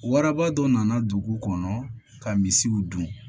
Waraba dɔ nana dugu kɔnɔ ka misiw dun